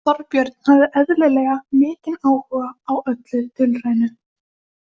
Þorbjörn hafði eðlilega mikinn áhuga á öllu dulrænu.